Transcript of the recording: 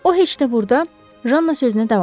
O heç də burda Janna sözünə davam etdi.